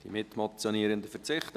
Die Mitmotionierenden verzichten.